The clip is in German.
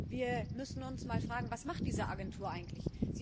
Wir müssen uns mal fragen Was macht diese Agentur eigentlich?